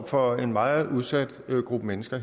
for en meget udsat gruppe mennesker